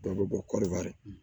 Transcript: Dɔ bɛ bɔ kɔɔri